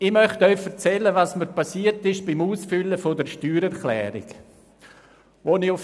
Ich möchte Ihnen erzählen, was mir beim Ausfüllen der Steuererklärung passiert ist: